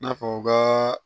N'a fɔ u ka